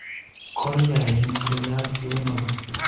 kolyain sikoyak tuyonoto?